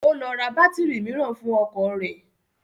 Ó lọ ra bátírì mìíràn fún ọkọ̀ rẹ̀